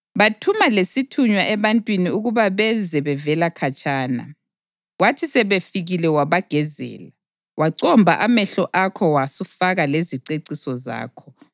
Bathuma lesithunywa ebantwini ukuba beze bevela khatshana, kwathi sebefikile wabagezela, wacomba amehlo akho wasufaka leziceciso zakho.